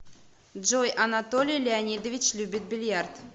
джой анатолий леонидович любит бильярд